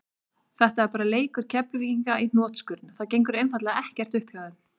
Þetta er bara leikur Keflvíkinga í hnotskurn, það gengur einfaldlega ekkert upp hjá þeim.